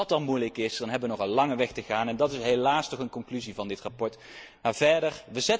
Als dat dan moeilijk is, hebben we nog een lange weg te gaan en dat is helaas toch een conclusie van dit verslag.